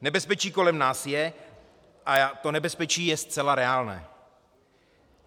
Nebezpečí kolem nás je a to nebezpečí je zcela reálné.